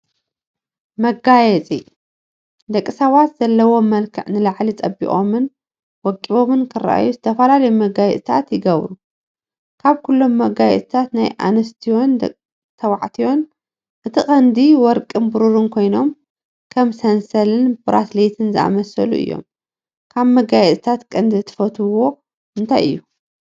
መጋየፂ፡- ደቂ ሰባት ዘለዎም መልክዕ ንላዕሊ ፀቢቖምን ወቂቦምን ክረአዩ ዝተፈላለዩ መጋየፂታት ይገብሩ፡፡ ካብኩሎም መጋየፅታት ናይ ኣንስትዮን ተባዕትዩ እቲ ቀንዲ ወርቅን ብሩን ኮይኖም ከም ሰንሰልን ብራስሌትን ዝኣመሰሉ እዮም፡፡ ካብ መጋፂታት ቀንዲ ትፈትዎኦ እንታይ እዩ?